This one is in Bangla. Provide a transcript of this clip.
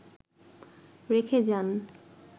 রেখে যান